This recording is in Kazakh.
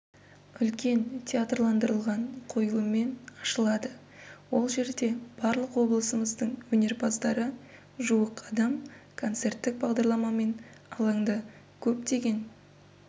үлкен театрландырылған қойылыммен ашылады ол жерде барлық облысымыздың өнерпаздары жуық адам концерттік бағдарламамен алаңда көптеген